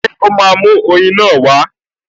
Ṣé ó máa mú oyin náà wá?